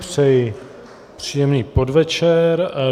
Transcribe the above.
Přeji příjemný podvečer.